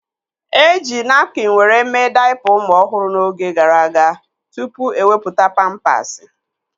Eji napkin were mee daipa ụmụ ọhụrụ n'oge gara aga tụpụ ewepụta pampasi